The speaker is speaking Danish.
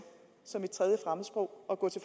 som et tredje fremmedsprog og gå til